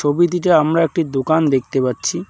ছবিতিটে আমরা একটি দোকান দেখতে পাচ্ছি।